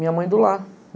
Minha mãe do lar.